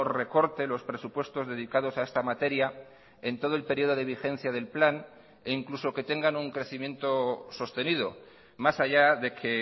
recorte los presupuestos dedicados a esta materia en todo el periodo de vigencia del plan e incluso que tengan un crecimiento sostenido más allá de que